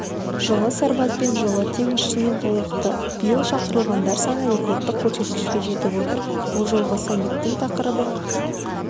жылы сарбазбен жылы теңізшімен толықты биыл шақырылғандар саны рекордтық көрсеткішке жетіп отыр бұл жолғы саммиттің тақырыбы